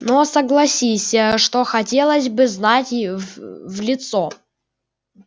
но согласись что хотелось бы знать в лицо